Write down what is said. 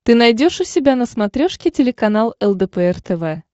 ты найдешь у себя на смотрешке телеканал лдпр тв